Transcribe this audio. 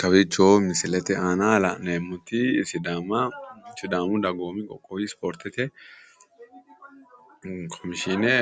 Kawiicho misilete aana la'neemmoti sidaama sidaamu dagoomu qoqqowu ispoortete komishshiine